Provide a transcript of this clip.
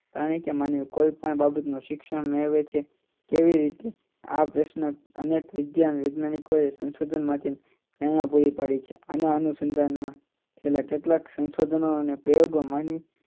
પ્રાણી કે માનવી કોઈ પણ બાબતનો શિક્ષણ મેળવે છે તેવી જ રીતે આ પ્રશ્ન અનેક વૈધાનિક વૈજ્ઞાનિકોએ સંશોધન માંથી ધારણા પૂરી પાડી છેઆ અનુસંધાનમાં કેટલાક સંધાનો અને પ્રયોગો માં